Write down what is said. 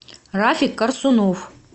рафик корсунов